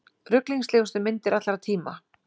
Ruglingslegustu myndir allra tíma